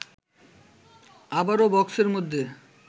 আবারও বক্সের মধ্যে